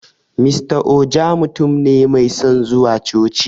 Mr Ojo mutun ne mai son zuwa coci